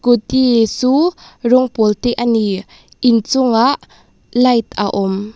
scooty chu rawng pawl te a ni inchungah light a awm.